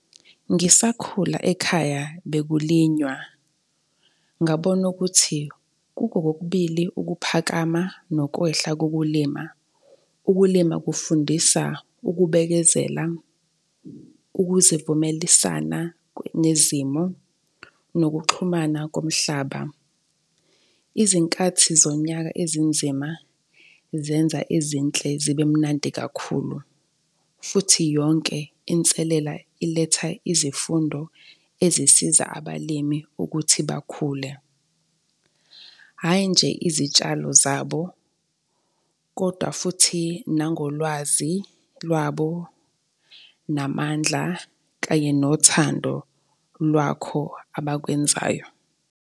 Ngisakhula ekhaya bekulinywa. Ngabona ukuthi kuko kokubili ukuphakama nokwehla kokulima ukulima kufundisa ukubekezela, ukuzivumelisana nezimo nokuxhumana komhlaba. Izinkathi zonyaka ezinzima zenza ezinhle zibe mnandi kakhulu futhi yonke inselela iletha izifundo ezisiza abalimi ukuthi bakhule. Hhayi, nje izitshalo zabo kodwa futhi nangolwazi lwabo namandla kanye nothando lwakho abakwenzayo.